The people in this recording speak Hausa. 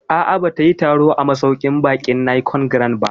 A'a, ba ta yi taro a masauƙin baƙin Nicon Grand ba